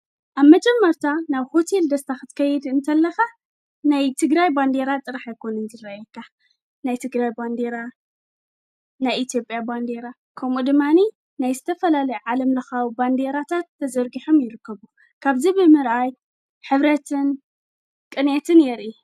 ኣብ መጀመርታ ናብ ሆቴል ደስታ ኽትከይድ እንተለኻ ናይ ትግራይ ባንዴራ ጥራሕ ኣይኮኑን ዝረየካ ናይ ትግራይ ባንዴራ ናይ ኢትዮጵያ ባንዴራ ከምኡ ድማኒ ናይ ዝተፈላለ ዓለም ለኻዊ ባንዴራታት ተዘርጊሖም ይርከቡ ካብዚ ብምርኣይ ሕብረትን ቕኔትን የርኢ።